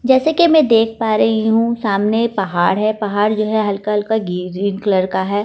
जैसे कि मैं देख पा रही हूं सामने पहाड़ है पहाड़ जो है हल्का-हल्का ग्रीन कलर का है और।